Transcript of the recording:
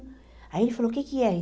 Aí ele falou, o que que é?